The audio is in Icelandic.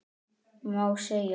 Má segja?